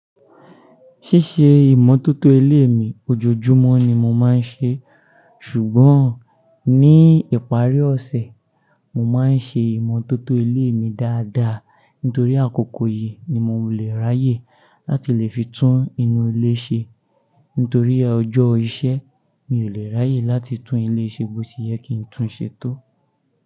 Ṣíṣe ìmọ̀tótó ilé mi ojoojúmọ́ ni mo má ń ṣe, ṣùgbọ́n ní ìparí ọ̀sẹ̀, mo máa ń ṣe ìmọ̀tótó ilé mi dáadáa. Nítorí àkókò yìí ni mo lè raáyè láti lè fi tún inú ilé ṣe. Nítorí ọjọ́ iṣẹ́ mi ò lè ráyè láti tún ilé ṣe bó ti yẹ kí ń tún ṣe tó.